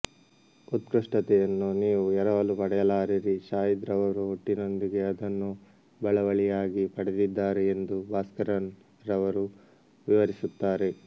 ಉತ್ಕೃಷ್ಟತೆಯನ್ನು ನೀವು ಎರವಲು ಪಡೆಯಲಾರಿರಿ ಶಾಹಿದ್ ರವರು ಹುಟ್ಟಿನೊಂದಿಗೆ ಅದನ್ನು ಬಳವಳಿಯಾಗಿ ಪಡೆದಿದ್ದಾರೆ ಎಂದು ಭಾಸ್ಕರನ್ ರವರು ವಿವರಿಸುತ್ತಾರೆ